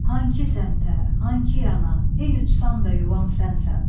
Hankı səmtə, hankı yana, ey uçsam da yuvam sənsən.